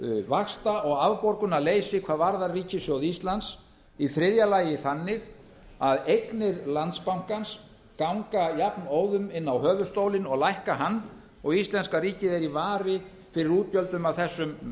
vaxta og afborgunarleysi hvað varðar ríkissjóð íslands í þriðja lagi þannig að eignir landsbankans ganga jafnóðum inn á höfuðstólinn og lækka hann og íslenska ríkið er í vari fyrir útgjöldum af þessum